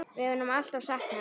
Við munum alltaf sakna hennar.